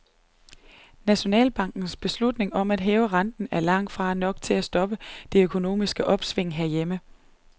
Nationalbankens beslutning om at hæve renten, er langt fra nok til at stoppe det økonomiske opsving herhjemme.